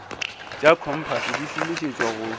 tša kompase di šomišetšwa go